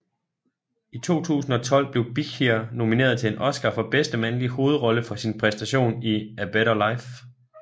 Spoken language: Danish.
I 2012 blev Bichir nomineret til en Oscar for bedste mandlige hovedrolle for sin præstation i A Better Life